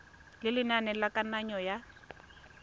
ya lenane la kananyo ya